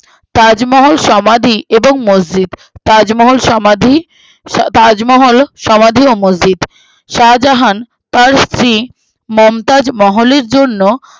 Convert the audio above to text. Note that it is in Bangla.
তাজমহল সমাধি এবং মসজিদ তাজমহল সমাধি আহ তাজমহল সমাধি ও মসজিদ শাহজাহান তার স্ত্রী মমতাজ মহলের জন্য